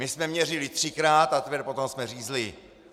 My jsme měřili třikrát, a teprve potom jsme řízli.